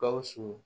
Gawusu